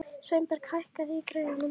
Sveinberg, hækkaðu í græjunum.